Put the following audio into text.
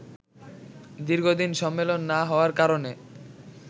দীর্ঘদিন সম্মেলন না হওয়ার কারণে